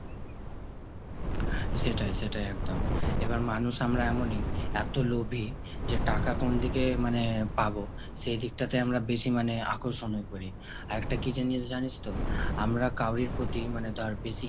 সেটাই সেটাই একদম। এবার মানুষ আমরা এমনই এত লোভী যে টাকা কোনদিকে মানে পাবো সেদিকটাতে আমরা বেশি মানে আকর্ষণ করি। একটা কি জিনিস জানিস তো আমরা কাউরির প্রতি মানে ধর বেশি